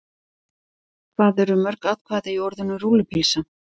Hvað eru mörg atkvæði í orðinu rúllupylsa?